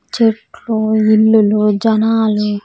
చెట్లు ఇల్లులు జనాలు .